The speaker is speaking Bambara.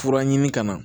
Fura ɲini ka na